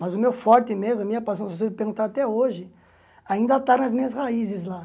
Mas o meu forte mesmo, a minha paixão, se você perguntar até hoje, ainda está nas minhas raízes lá.